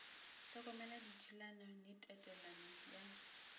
hlokomela dithulano le tatelelo ya